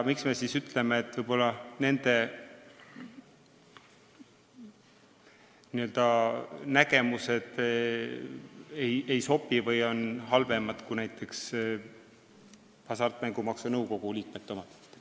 Miks me siis ütleme, et nende nägemused ei sobi või on halvemad kui näiteks Hasartmängumaksu Nõukogu liikmete omad?